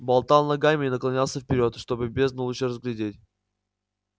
болтал ногами и наклонялся вперёд чтобы бездну лучше разглядеть